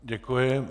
Děkuji.